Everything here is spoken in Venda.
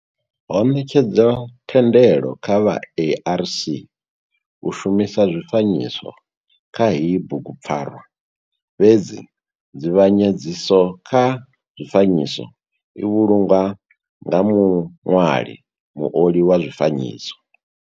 Ho netshedzwa thendelo kha vha ARC u shumisa zwifanyiso kha heyi bugu pfarwa fhedzi nzivhanyedziso kha zwifanyiso i vhulungwa nga muṋwali, muoli wa zwifanyiso.